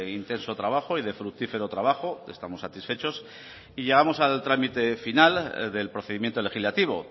intenso trabajo y de fructífero trabajo estamos satisfechos y llegamos al trámite final del procedimiento legislativo